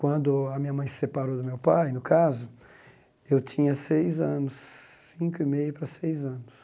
Quando a minha mãe se separou do meu pai, no caso, eu tinha seis anos, cinco e meio para seis anos.